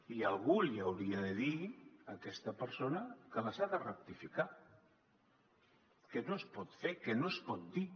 i algú li hauria de dir a aquesta persona que les ha de rectificar que no es pot fer que no es pot dir